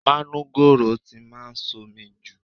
Manugoro ti máa ń somi jù.